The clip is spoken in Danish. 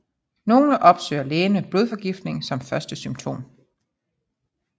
Nogle opsøger lægen med blodforgiftning som første symptom